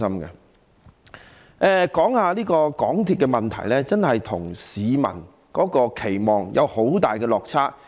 再說說有關港鐵的問題，它真的與市民的期望有很大落差。